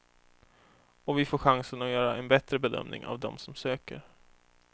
Och vi får chansen att göra en bättre bedömning av dem som söker.